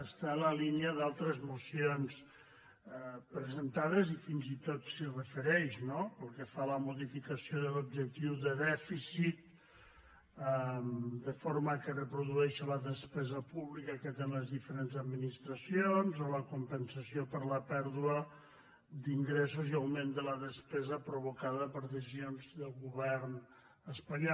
està en la línia d’altres mocions presentades i fins i tot s’hi refereix no pel que fa a la modificació de l’objectiu de dèficit de forma que reprodueixi la despesa pública que tenen les diferents administracions o la compensació per la pèrdua d’ingressos i augment de la despesa provo·cada per decisions del govern espanyol